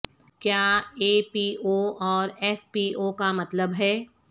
کیا A P O اور F P O کا مطلب ہے